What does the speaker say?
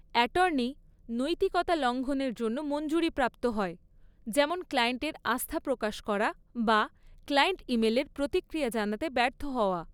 Attorney, নৈতিকতা লঙ্ঘনের জন্য মঞ্জুরিপ্রাপ্ত হয়, যেমন ক্লায়েন্টের আস্থা প্রকাশ করা বা ক্লায়েন্ট ইমেলের প্রতিক্রিয়া জানাতে ব্যর্থ হওয়া।